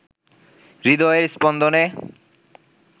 হৃদয়ের স্পন্দনে